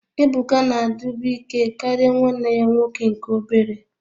Ebuka na-adịbu ike karịa nwanne ya nwoke nke obere